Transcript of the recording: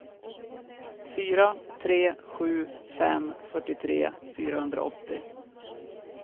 fyra tre sju fem fyrtiotre fyrahundraåttio